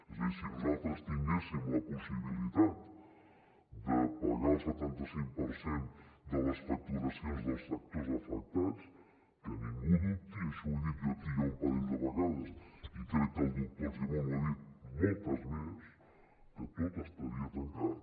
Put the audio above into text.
és a dir si nosaltres tinguéssim la possibilitat de pagar el setanta cinc per cent de les facturacions dels sectors afectats que ningú dubti i això ho he dit jo aquí ja un parell de vegades i crec que el doctor argimon ho ha dit moltes més que tot estaria tancat